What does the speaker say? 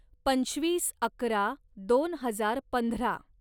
पंचवीस अकरा दोन हजार पंधरा